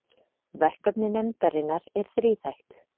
Verkefni nefndarinnar er þríþætt